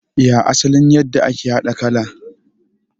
Ya asalin yadda ake haɗa kala?